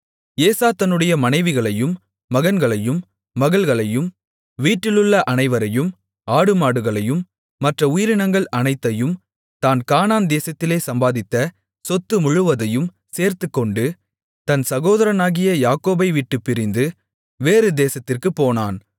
ஏசா தன்னுடைய மனைவிகளையும் மகன்களையும் மகள்களையும் வீட்டிலுள்ள அனைவரையும் ஆடுமாடுகளையும் மற்ற உயிரினங்கள் அனைத்தையும் தான் கானான் தேசத்திலே சம்பாதித்த சொத்து முழுவதையும் சேர்த்துக்கொண்டு தன் சகோதரனாகிய யாக்கோபைவிட்டுப் பிரிந்து வேறு தேசத்திற்குப் போனான்